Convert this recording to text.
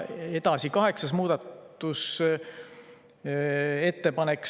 Edasi, kaheksas muudatusettepanek.